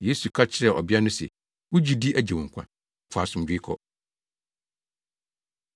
Yesu ka kyerɛɛ ɔbea no se, “Wo gyidi agye wo nkwa. Fa asomdwoe kɔ.”